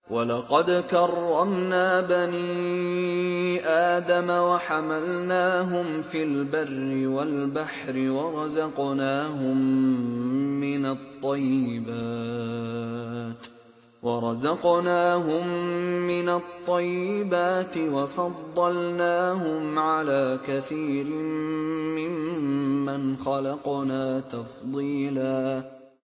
۞ وَلَقَدْ كَرَّمْنَا بَنِي آدَمَ وَحَمَلْنَاهُمْ فِي الْبَرِّ وَالْبَحْرِ وَرَزَقْنَاهُم مِّنَ الطَّيِّبَاتِ وَفَضَّلْنَاهُمْ عَلَىٰ كَثِيرٍ مِّمَّنْ خَلَقْنَا تَفْضِيلًا